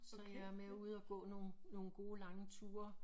Så jeg er med ude og gå nogen nogen gode lange ture